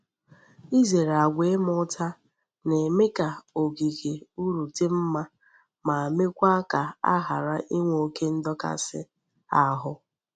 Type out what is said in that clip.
Izere agwa ima uta na-eme ka ogige ulrudi mma ma meekwa ka a hara inwe oke ndokasi ahu.